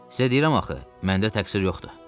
Sizə deyirəm axı, məndə təqsir yoxdur.